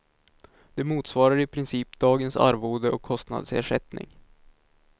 Det motsvarar i princip dagens arvode och kostnadsersättning.